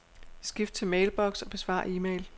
Skift til mailbox og besvar e-mail.